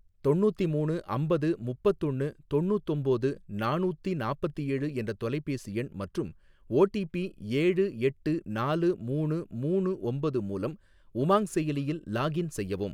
தொண்ணூத்திமூணு அம்பது முப்பத்தொன்னு தொண்ணூத்தொம்போது நானூத்தி நாப்பத்தேழு என்ற தொலைபேசி எண் மற்றும் ஓடிபி ஏழு எட்டு நாலு மூணு மூணு ஒம்பது மூலம் உமாங் செயலியில் லாகின் செய்யவும்.